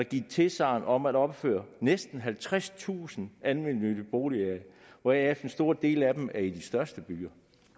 givet tilsagn om at opføre næsten halvtredstusind almennyttige boliger hvoraf en stor del af dem er i de største byer